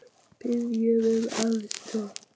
Biðja um aðstoð!